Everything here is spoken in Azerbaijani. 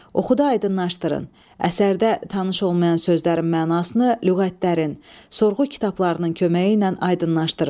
Oxuda aydınlaşdırın əsərdə tanış olmayan sözlərin mənasını lüğətlərin, sorğu kitablarının köməyi ilə aydınlaşdırın.